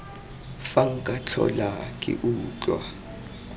fa nka tlhola ke utlwa